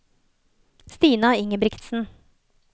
Stina Ingebrigtsen